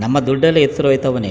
ನಮ್ಮ ದುಡ್ಡಲ್ಲಿ ಹೆಸ್ರ್ ಹೋಯ್ ತ್ವ್ ನ್ನಿ --